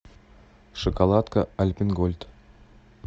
шоколадка альпен гольд